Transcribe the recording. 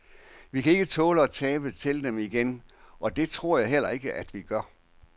Vi kan ikke tåle at tabe til dem igen, og det tror jeg heller ikke, at vi gør.